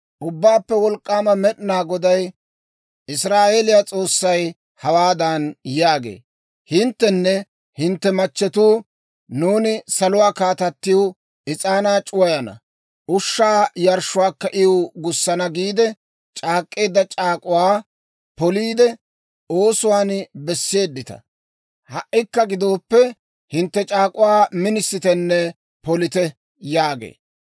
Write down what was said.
Ubbaappe Wolk'k'aama Med'inaa Goday, Israa'eeliyaa S'oossay, hawaadan yaagee; ‹Hinttenne hintte machchetuu, «Nuuni Saluwaa Kaatattiw is'aanaa c'uwissana; ushshaa yarshshuwaakka iw gussana» giide c'aak'k'eedda c'aak'uwaa poliide, oosuwaan besseedita. Ha"ikka gidooppe, hintte c'aak'uwaa minisittenne polite› yaagee.